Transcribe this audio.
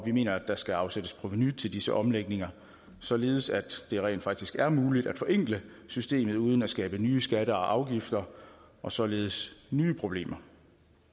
mener der skal afsættes provenu til disse omlægninger således at det rent faktisk er muligt at forenkle systemet uden at skabe nye skatter og afgifter og således nye problemer